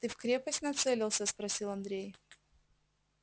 ты в крепость нацелился спросил андрей